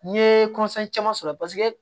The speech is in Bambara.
N'i ye caman sɔrɔ paseke